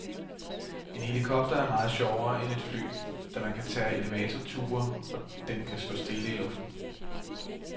En helikopter er meget sjovere end et fly, da man kan tage elevatorture og den kan stå stille i luften.